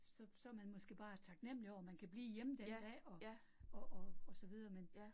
Så så man måske bare taknemlig over, man kan blive hjemme der i dag, og og og og så videre men